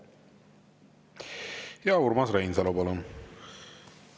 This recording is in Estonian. Urmas Reinsalu, palun!